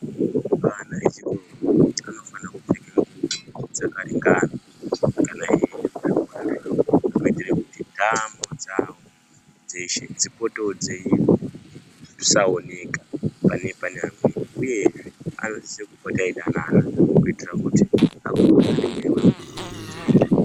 Vana vechikora vanofanirwe kupfeke ndxubo dzakaringana einde kuzvikora kuitire kuti ntamo dzawo dzeshe dzipodzwewo dzisaoneka panenge paine amweni uyezve anosise kopota eyidanana kuitire kuti akure aine nemweya weumwechete.